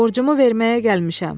borcumu verməyə gəlmişəm.